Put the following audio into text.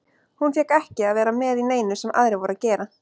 Hún fékk ekki að vera með í neinu sem aðrir voru að gera.